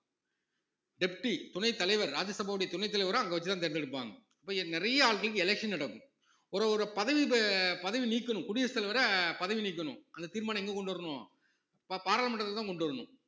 deputy துணைத் தலைவர் ராஜ்யசபாவுடைய துணைத்தலைவரை அங்க வச்சு தான் தேர்ந்தெடுப்பாங்க இப்ப நிறைய election நடக்கும் ஒரு ஒரு பதவி இப்ப பதவி நீக்கணும் குடியரசுத் தலைவர பதவி நீக்கணும் அந்த தீர்மானம் எங்க கொண்டு வரணும் பா~ பாராளுமன்றத்துக்குதான் கொண்டு வரணும்